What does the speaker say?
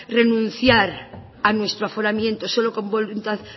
renunciar a nuestro aforamiento solo con voluntad